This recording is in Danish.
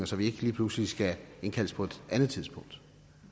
så vi ikke lige pludselig skal indkaldes på et andet tidspunkt